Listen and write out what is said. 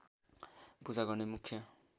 पूजा गर्ने मुख्य